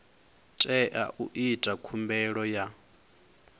tea u ita khumbelo ya